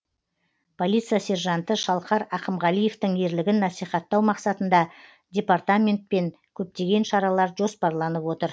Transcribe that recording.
полиция сержанты шалқар ақымғалиевтің ерлігін насихаттау мақсатында департаментпен көптеген шаралар жоспарланып отыр